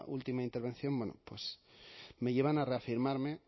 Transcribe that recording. última intervención bueno pues me llevan a reafirmarme